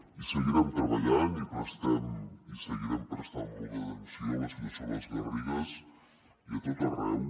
hi seguirem treballant i prestem i seguirem prestant molta atenció a la situació a les garrigues i a tot arreu